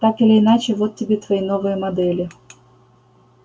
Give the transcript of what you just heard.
так или иначе вот тебе твои новые модели